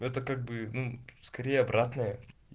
это как бы ну скорее обратная